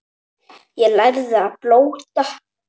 Ég lærði að blóta.